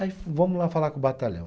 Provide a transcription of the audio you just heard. Aí vamos lá falar com o batalhão.